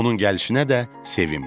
Onun gəlişinə də sevinmir.